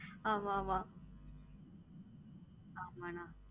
ஆமா ஆமா ஆமா அண்ணா